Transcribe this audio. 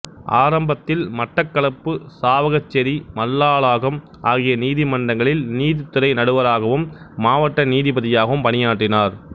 ஆரம்பத்தில் மட்டக்களப்பு சாவகச்சேரி மல்லாகம் ஆகிய நீதிமன்றங்களில் நீதித்துறை நடுவராகவும் மாவட்ட நீதிபதியாகவும் பணியாற்றினார்